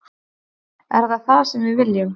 Er það það sem við viljum?